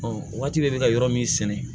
waati bɛ ka yɔrɔ min sɛnɛ